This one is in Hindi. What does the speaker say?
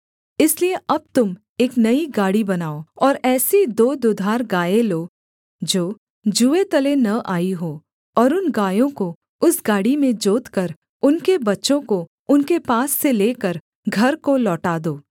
इसलिए अब तुम एक नई गाड़ी बनाओ और ऐसी दो दुधार गायें लो जो जूए तले न आई हों और उन गायों को उस गाड़ी में जोतकर उनके बच्चों को उनके पास से लेकर घर को लौटा दो